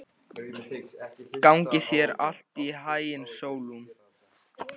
Gangi þér allt í haginn, Sólon.